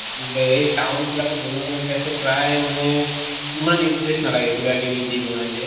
হেই town বিলাকত বনোৱা টো মই চাইছো প্ৰায় মানে ইমান interest নালাগে কিবা কিবি দি বনায় যে।